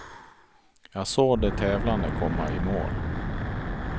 Jag såg de tävlande komma i mål.